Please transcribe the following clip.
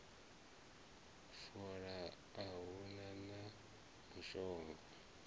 fola a hu na mushonga